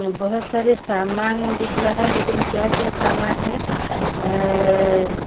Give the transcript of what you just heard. बहोत सारे सामान दिख रहा है लेकिन क्या क्या सामान है अ--